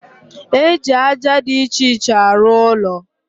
E ji aja dị iche iche arụ ụlọ